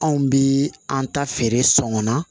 Anw bi an ta feere sɔngɔn na